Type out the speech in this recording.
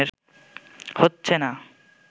হচ্ছে না